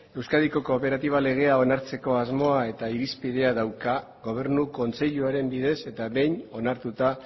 euskadiko kooperatiba legea onartzeko asmoa eta irizpidea dauka gobernu kontseiluaren bidez eta behin onartuta